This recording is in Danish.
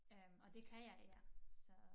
Øh og det kan jeg her så